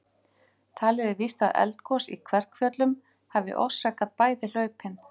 Talið er víst að eldgos í Kverkfjöllum hafi orsakað bæði hlaupin.